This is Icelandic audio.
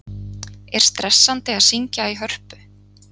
Er stressandi að syngja í Hörpu?